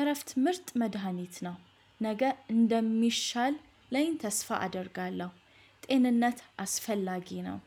እረፍት ምርጥ መድሃኒት ነው። ነገ እንደሚሻል ላይ ተስፋ አደርጋለሁ። ጤንነት አስፈላጊ ነው።